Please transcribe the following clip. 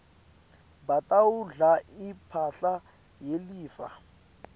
batawudla imphahla yelifa